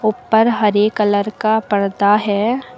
ऊपर हरे कलर का पर्दा है।